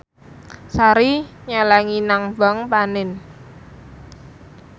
Sari nyelengi nang bank panin